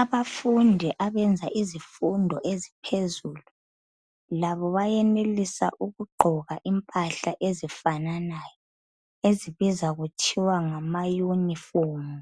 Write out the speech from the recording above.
Abafundi abenza zifundo eziphezulu labo bayenelisa ukugqoka impahla ezifananayo, ezibizwa kuthwa ngama yunifomu